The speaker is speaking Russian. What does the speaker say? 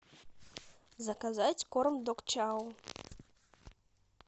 заказать корм дог чау